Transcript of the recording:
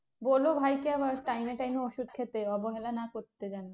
বোলো ভাইকে আবার time এ time এ ওষুধ খেতে অবহেলা না করতে যেন।